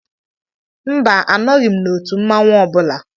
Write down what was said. Mba, anọghị m n'òtù mmanwu ọ bụla.